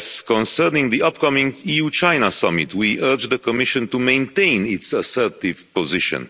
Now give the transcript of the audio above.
Concerning the upcoming EU-China summit, we urge the Commission to maintain its assertive position.